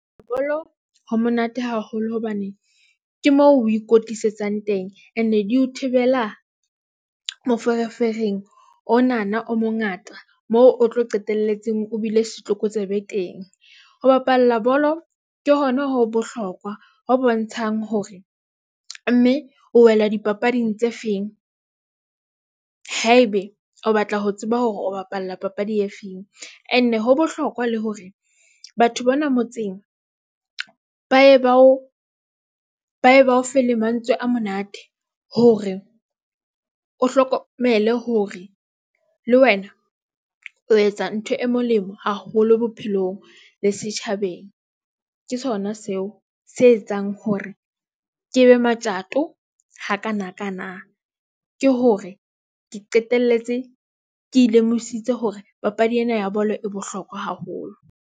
Bolo ho monate haholo hobane ke moo o ikwetlisetsang teng. Ene di o thibela moferefereng onana o mongata moo o tlo qetelletseng. O bile setlokotsebe ho bapalla bolo ke. Hona ho bohlokwa ho bontshang hore mme o wela dipapading tse feng ha ebe o batla ho tseba hore o bapalla papadi e feng and. Ho bohlokwa le hore batho bona motseng ba e ba ofe le mantswe a monate hore o hlokomele hore le wena o etsa ntho e molemo haholo bophelong le setjhabeng. Ke sona seo se etsang hore ke be matjato hakanakana ke hore ke qetelletse ke ikemiseditse hore papadi ena ya bolo e bohlokwa haholo.